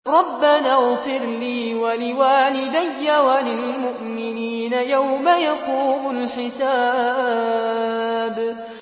رَبَّنَا اغْفِرْ لِي وَلِوَالِدَيَّ وَلِلْمُؤْمِنِينَ يَوْمَ يَقُومُ الْحِسَابُ